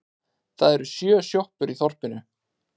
Það eru sjö sjoppur í þorpinu!